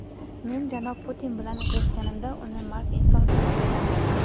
Men janob Putin bilan uchrashganimda uni mard inson sifatida tanidim.